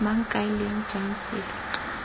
mang kae leng jang selo